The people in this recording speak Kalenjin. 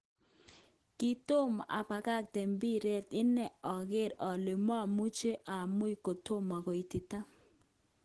Kitomo abakakte mpiret ine oker ole momuche omuny kotomo koitita